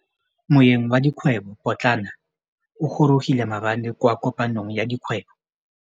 Moêng wa dikgwêbô pôtlana o gorogile maabane kwa kopanong ya dikgwêbô.